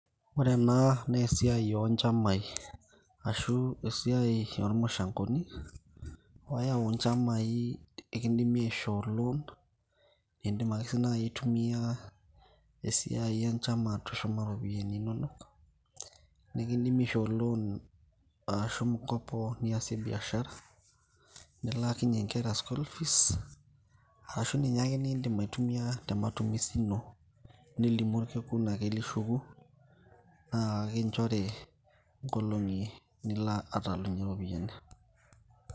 ore ena naa esiai onchamai ashu esiai ormushangoni oyau inchamai ekindimi aishoo loan indim ake sii naaji ai tumia esiai enchama atushuma iropiyiani inonok nikindimi aishoo loan ashu mkopo niasie biashara nilaakinyie inkera school fees arashu ninye ake nindim ai tumia te matumizi ino nilimu orkekun lishuku naa ekinchori inkolong'i nilo atalunyie iropiyiani.